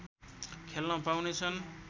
खेल्न पाउनेछन्